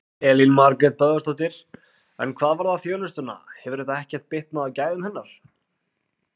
Elín Margrét Böðvarsdóttir: En hvað varðar þjónustuna, hefur þetta ekkert bitnað á gæðum hennar?